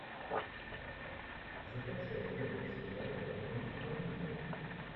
закачай годный сериал в духе комедии